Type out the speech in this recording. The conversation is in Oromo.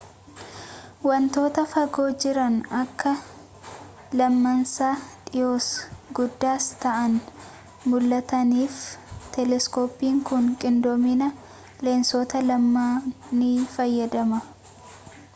wantoota fagoo jiran akka lamaansaa dhiyoos guddaas ta'anii muldhataniif teeleskoppiin kun qindoomina leensota lamaanii fayyadama